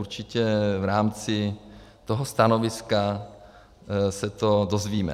Určitě v rámci toho stanoviska se to dozvíme.